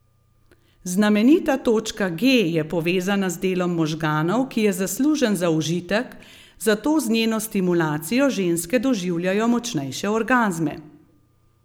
Znamenita točka G je povezana z delom možganov, ki je zaslužen za užitek, zato z njeno stimulacijo ženske doživljajo močnejše orgazme.